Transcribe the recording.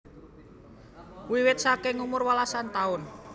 Wiwit saking umur welasan taun